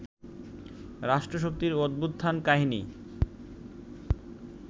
রাষ্ট্রশক্তির অভ্যুত্থান-কাহিনী